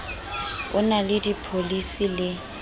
o na le dipholisi le